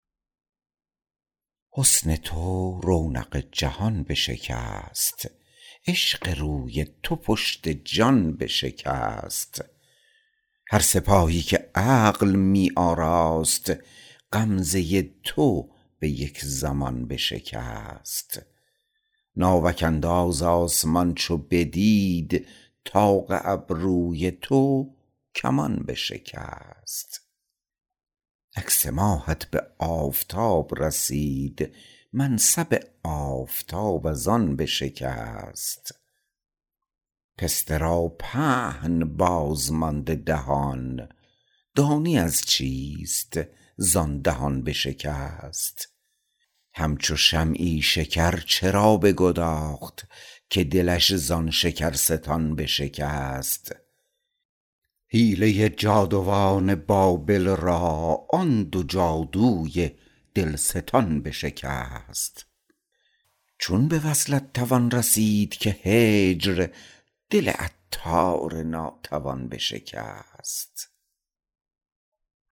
حسن تو رونق جهان بشکست عشق روی تو پشت جان بشکست هر سپاهی که عقل می آراست غمزه تو به یک زمان بشکست ناوک انداز آسمان چو بدید طاق ابروی تو کمان بشکست عکس ماهت به آفتاب رسید منصب آفتاب از آن بشکست پسته را پهن بازمانده دهان دانی از چیست زان دهان بشکست همچو شمعی شکر چرا بگداخت که دلش زان شکرستان بشکست حیله جادوان بابل را آن دو جادوی دلستان بشکست چون به وصلت توان رسید که هجر دل عطار ناتوان بشکست